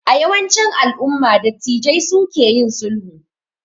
A yawancin alumma dattijai su ke yin sulhu